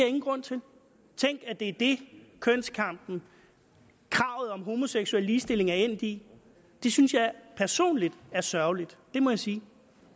ingen grund til tænk at det er det kønskampen kravet om homoseksuel ligestilling er endt i det synes jeg personligt er sørgeligt det må jeg sige